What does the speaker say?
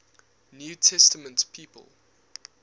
new testament people